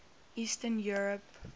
eastern europe